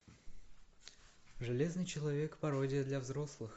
железный человек пародия для взрослых